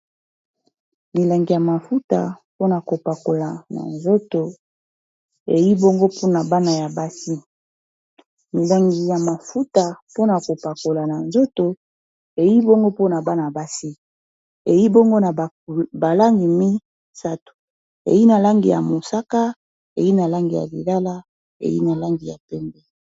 milangi ya mafuta pona kopakola na zotoeiongo mpna bana ya basi milangi ya mafuta pona kopakola na nzoto ei bongo pona bana basi ei bongo na balangi mi 3o ei na langi ya mosaka ei na langi ya lilala ei nalangi ya pembe